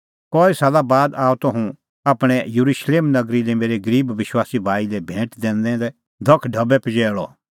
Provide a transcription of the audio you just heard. कई साला बाद आअ त हुंह आपणैं येरुशलेम नगरी लै मेरै गरीब विश्वासी भाई लै भैंट दैनै दै धख ढबैधेल्लै पजैल़अ